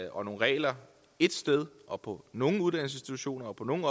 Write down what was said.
og nogle regler ét sted og på nogle uddannelsesinstitutioner og på nogle